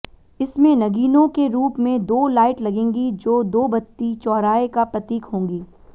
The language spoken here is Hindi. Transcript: इसमें नगीनों के रूप में दो लाइट लगेंगी जो दो बत्ती चौराहे का प्रतीक होंगी